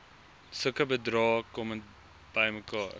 sulke bedrae bymekaar